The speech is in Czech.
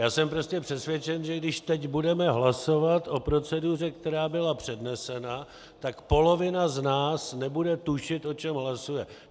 Já jsem prostě přesvědčen, že když teď budeme hlasovat o proceduře, která byla přednesena, tak polovina z nás nebude tušit, o čem hlasuje.